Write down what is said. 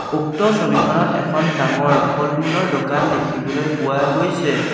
উক্ত ছবিখনত এখন ডাঙৰ ফলমূলৰ দোকান দেখিবলৈ পোৱা গৈছে।